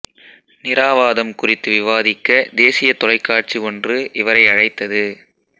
நிறாவாதம் குறித்து விவாதிக்க தேசிய தொலைக்காட்சி ஒன்று இவரை அழைத்தது